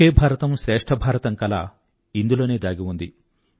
ఒకే భారతం శ్రేష్ఠ భారతం కల ఇందులోనే దాగి ఉంది